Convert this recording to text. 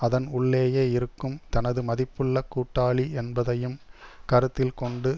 அதன் உள்ளேயே இருக்கும் தனது மதிப்புள்ள கூட்டாளி என்பதையும் கருத்தில் கொண்டு